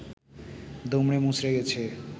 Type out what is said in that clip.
দুমড়ে মুচড়ে গেছে